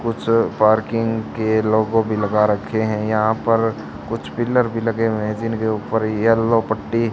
कुछ पार्किंग के लोगो भी लगा रखे हैं। यहां पे कुछ पिलर भी लगे हैं जिनके ऊपर येलो पट्टी।